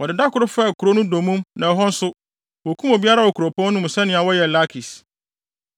Wɔde da koro faa kurow no dommum na ɛhɔ nso, wokum obiara wɔ kuropɔn no mu sɛnea wɔyɛɛ Lakis.